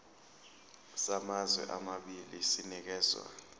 samazwe amabili sinikezwa